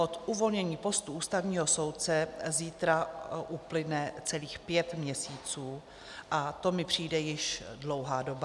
Od uvolnění postu ústavního soudce zítra uplyne celých pět měsíců a to mi přijde již dlouhá doba.